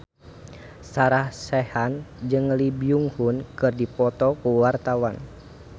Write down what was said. Sarah Sechan jeung Lee Byung Hun keur dipoto ku wartawan